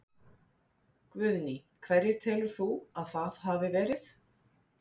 Guðný: Hverjir telur þú að það hafi verið?